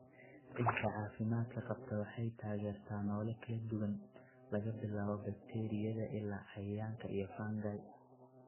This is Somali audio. Ciidda caafimaadka qabta waxay taageertaa noole kala duwan, laga bilaabo bakteeriyada ilaa cayayaanka iyo fungi.